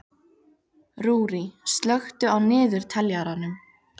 Rúrí, slökktu á niðurteljaranum.